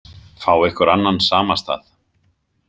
Fá ykkur annan samastað.